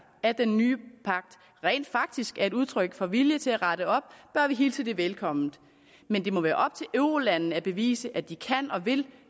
at den nye pagt rent faktisk er et udtryk for vilje til at rette op bør vi hilse det velkommen men det må være op til eurolandene at bevise at de kan og vil